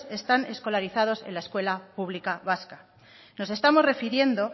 están escolarizados en la escuela pública vasca nos estamos refiriendo